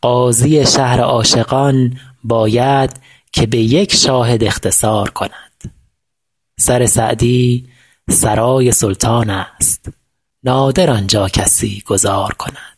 قاضی شهر عاشقان باید که به یک شاهد اختصار کند سر سعدی سرای سلطانست نادر آن جا کسی گذار کند